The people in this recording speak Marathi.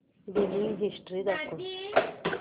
बिलिंग हिस्टरी दाखव